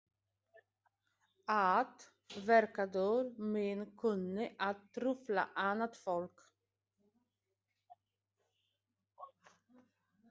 Að verknaður minn kunni að trufla annað fólk.